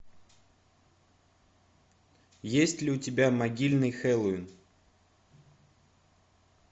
есть ли у тебя могильный хэллоуин